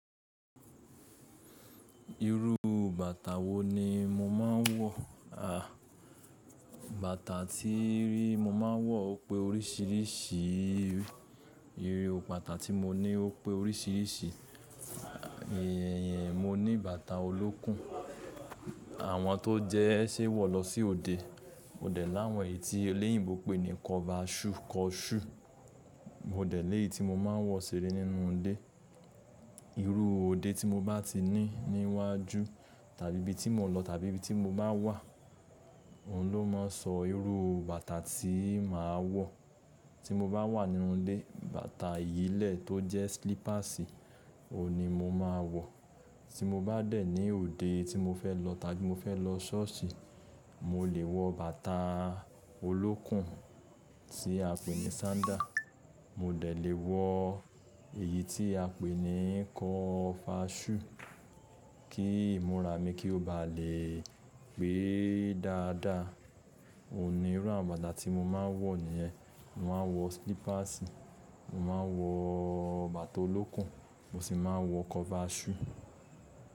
Irú bàtà wo ni mo máa ń wọ? À, bàtà tí mo máa ń wọ ó pé oríṣìíríṣìí. Irú bàtà tí mo ní ó pé oríṣìíríṣìí. Èèyàn mo ní bàtà olókùn. Àwọn tó jẹ́ ẹ ṣe wọ̀ lọ sí òde. Ó dẹ̀ láwọn èyí tí oléyìíbo pé ní kọbaṣù kọṣú. Mo dẹ̀ eyi tí mo máa ń wọ̀ ṣere nínú ilé. Irú òde tí mo bá ti ní níwájú tàbí ibí tí mo lọ tàbí bí tí mo bá wà, òun ló mọ sọ irú bàtà tí màá wọ̀. Tí mo bá wà nínú ilé, bàtà ìyílẹ̀ tó jẹ́ slípàsì, òun ni mo máa ń wọ̀. Tí mo bá dẹ̀ ní òde tí mo fẹ́ lọ tàbí mo fẹ́ lọ ṣọ́ọ̀ṣì, mo lè wọ bàtà olókùn tí a pè ní sándà. Mo dẹ̀ lé wọ èyí tí a pè ní kọ̀fáṣù kí ìmúra mi kí ó bá lè pé dáadáa. Òun ni ìru bàtà tí mo máa ń wọ̀ nìyẹn. Mo máa ń wọ slípàsì, mo máa ń wọ bàtà olókùn, mo sì máa ń wọ kọbaṣù.